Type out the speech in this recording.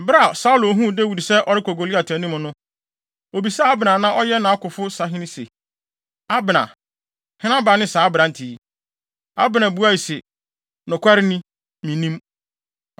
Bere a Saulo huu Dawid sɛ ɔrekɔ Goliat anim no, obisaa Abner a na ɔyɛ nʼakofo sahene se, “Abner, hena ba ne saa aberante yi?” Abner buae se, “Nokware ni, minnim.”